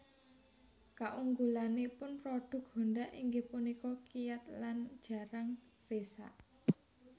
Kaunggulanipun prodhuk Honda inggih punika kiyat lan jarang risak